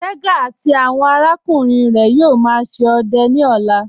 Tẹga àti awọn arákùnrin rẹ yóò má ṣe ọdẹ ni ọ̀là.